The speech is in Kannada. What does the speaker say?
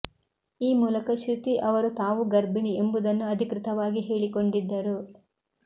ಈ ಮೂಲಕ ಶ್ರುತಿ ಅವರು ತಾವೂ ಗರ್ಭಿಣಿ ಎಂಬುದನ್ನು ಅಧಿಕೃತವಾಗಿ ಹೇಳಿಕೊಂಡಿದ್ದರು